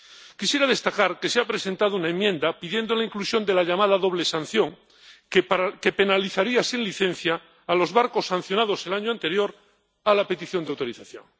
Quisiera destacar que se ha presentado una enmienda pidiendo la inclusión de la llamada doble sanción, que penalizaría sin licencia a los barcos sancionados el año anterior a la petición de autorización.